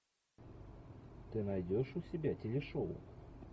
ты найдешь у себя телешоу